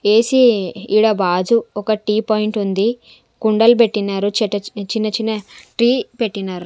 ఏ సి ఈడ బాజు ఒక టీ పాయింట్ ఉంది కుండల్ బెట్టినార్ చిన్న చిన్న టీ పెట్టినర్.